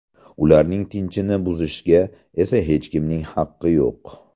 Ularning tinchini buzishga esa hech kimning haqqi yo‘q.